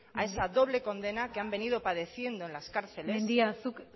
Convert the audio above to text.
a esa doble condena que han venido padeciendo en las cárceles mendia zuk